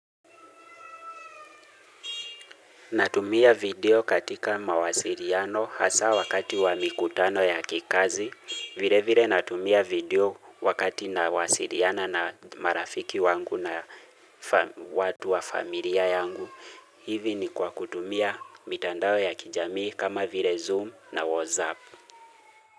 Natumia video katika mawasiriano hasa wakati wa mikutano ya kikazi. Vile vile natumia video wakati nawasiriana na marafiki wangu na watu wa familia yangu. Hivi ni kwa kutumia mitandao ya kijamii kama vile zoom na whatsapp.